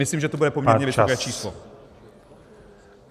Myslím, že to bude poměrně vysoké číslo.